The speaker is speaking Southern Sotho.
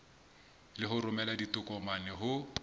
le ho romela ditokomane ho